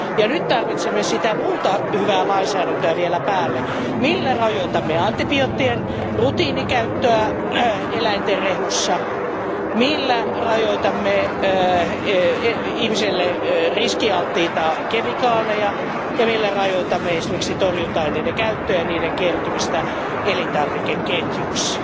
Nyt tarvitsemme sitä muuta hyvää lainsäädäntöä vielä päälle, millä rajoitamme antibioottien rutiinikäyttöä eläinten rehussa, millä rajoitamme ihmiselle riskialttiita kemikaaleja ja millä rajoitamme esimerkiksi torjunta aineiden käyttöä ja niiden kertymistä elintarvikeketjuissa.